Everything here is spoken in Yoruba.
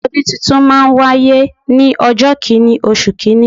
Ọdún tuntun máa n wáyé ní ọjọ́ kìnì oṣù kìíní